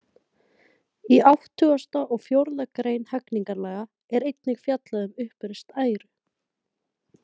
Í áttugasta og fjórða grein hegningarlaga er einnig fjallað um uppreist æru.